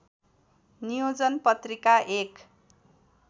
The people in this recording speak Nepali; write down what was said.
नियोजन पत्रिका एक